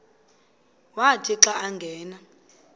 wathi xa angena